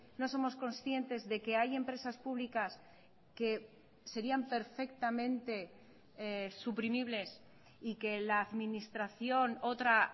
no somos conscientes de que hay empresas públicas que serían perfectamente suprimibles y que la administración otra